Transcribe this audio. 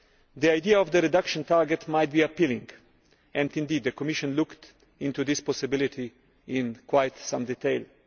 The idea of the reduction target might be appealing, and indeed the Commission looked into this possibility in quite some detail.